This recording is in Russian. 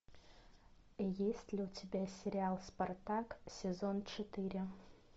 есть ли у тебя сериал спартак сезон четыре